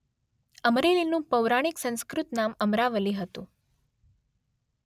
અમરેલીનું પૌરાણીક સંસ્કૃત નામ અમરાવલી હતું.